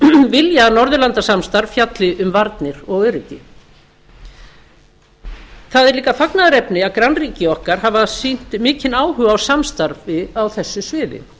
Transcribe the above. vilja að norðurlandasamstarf fjalli um varnir og öryggi það er líka fagnaðarefni að grannríki okkar hafa sýnt mikinn áhuga á samstarfi á þessu sviði